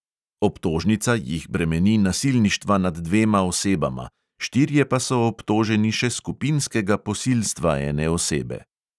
Obtožnica jih bremeni nasilništva nad dvema osebama, štirje pa so obtoženi še skupinskega posilstva ene osebe.